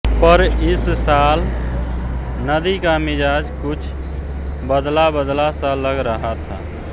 पर इस साल नदी का मिजाज कुछ बदलाबदला सा लग रहा था